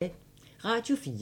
Radio 4